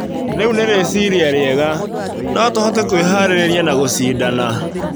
Rĩu nĩ rĩciria rĩega. No tũhote kwĩharĩrĩria na gũcindana.